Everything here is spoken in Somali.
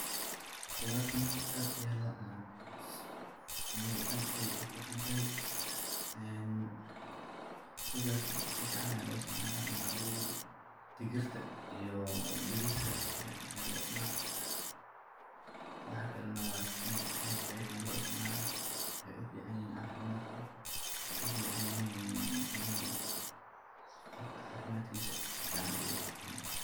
Qudartan horta ad aya locuna amabo ad ayay uficantahy si fican aya lo istacmala digirta iyo bariska sifican aya lucunah, waxa kale ad aya lo istacala waxay uficanyihin cafimadka, waxay uficanyihin qofka cafimadkisa yacni uficanyahy.